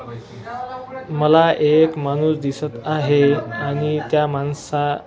मला एक माणूस दिसत आहे आणि त्या माणसा--